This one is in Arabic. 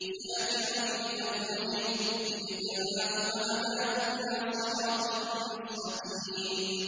شَاكِرًا لِّأَنْعُمِهِ ۚ اجْتَبَاهُ وَهَدَاهُ إِلَىٰ صِرَاطٍ مُّسْتَقِيمٍ